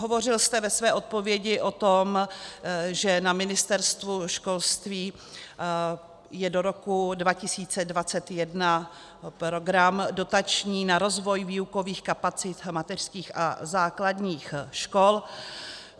Hovořil jste ve své odpovědi o tom, že na Ministerstvu školství je do roku 2021 program dotační na rozvoj výukových kapacit mateřských a základních škol.